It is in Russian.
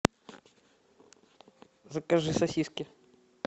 закажи сосиски